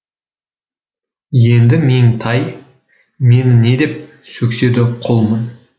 енді меңтай мені не деп сөксе де құлмын